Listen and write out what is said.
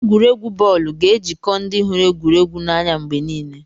Egwuregwu bọọlụ ga-ejikọ ndị hụrụ egwuregwu n'anya mgbe niile.